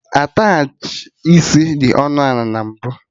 Attachị isi dị ọnụ ana na mbụ